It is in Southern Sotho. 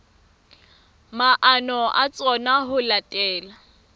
maano a tsona ho latela